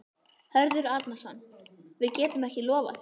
Hörður Arnarson: Við getum ekki lofað því?